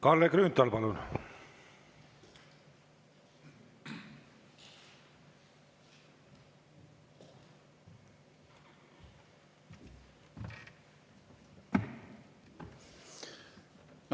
Kalle Grünthal, palun!